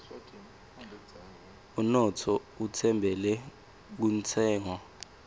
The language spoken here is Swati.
unotfo utfembele kuntshengo